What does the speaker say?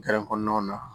kɔnɔnaw na